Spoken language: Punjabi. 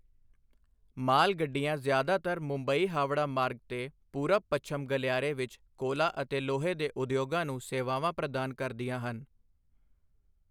ਮਾਲ ਗੱਡੀਆਂ ਜ਼ਿਆਦਾਤਰ ਮੁੰਬਈ ਹਾਵੜਾ ਮਾਰਗ 'ਤੇ ਪੂਰਬ ਪੱਛਮ ਗਲਿਆਰੇ ਵਿੱਚ ਕੋਲਾ ਅਤੇ ਲੋਹੇ ਦੇ ਉਦਯੋਗਾਂ ਨੂੰ ਸੇਵਾਵਾਂ ਪ੍ਰਦਾਨ ਕਰਦੀਆਂ ਹਨ।